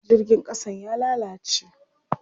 Jirgin ƙasan ya lalace.